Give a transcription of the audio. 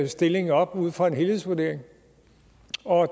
stilling op ud fra en helhedsvurdering